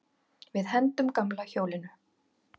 Við hendum gamla hjólinu.